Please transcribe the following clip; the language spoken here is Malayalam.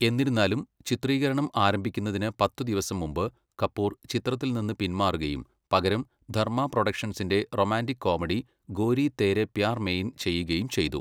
എന്നിരുന്നാലും, ചിത്രീകരണം ആരംഭിക്കുന്നതിന് പത്ത് ദിവസം മുമ്പ് കപൂർ ചിത്രത്തിൽ നിന്ന് പിന്മാറുകയും പകരം ധർമ്മ പ്രൊഡക്ഷൻസിന്റെ റൊമാന്റിക് കോമഡി ഗോരി തേരേ പ്യാർ മെയിൻ ചെയ്യുകയും ചെയ്തു.